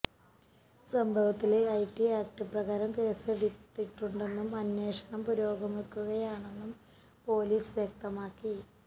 സംഭവത്തില് IT act പ്രകാരം കേസെടുത്തിട്ടുണ്ടെന്നും അന്വേഷണം പുരോഗമിക്കുകയാണെന്നും പൊലീസ് വ്യക്തമാക്കി